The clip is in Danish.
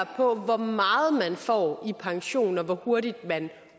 hvor hvor meget man får i pension og hvor hurtigt man